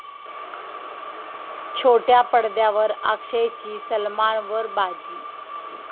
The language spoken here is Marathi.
छोट्या पडद्यावर अक्षयची सलमानवर बाजी